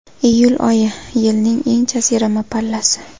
Iyul oyi... Yilning eng jazirama pallasi.